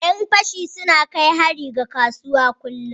Yan fashi suna na kai hari ga kasuwa kullum.